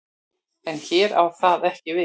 En hér á það ekki við.